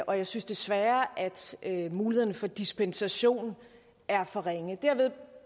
og jeg synes desværre at mulighederne for dispensation er for ringe dermed